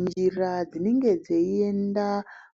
Njira dzinenge dzeienda